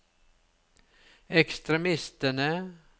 ekstremistene